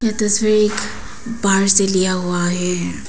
तस्वीर बाहर से लिया हुआ है।